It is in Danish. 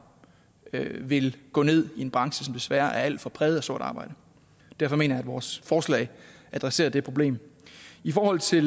vil gå ned i en branche som desværre er alt for præget af sort arbejde derfor mener jeg at vores forslag adresserer det problem i forhold til